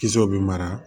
Kisɛw bɛ mara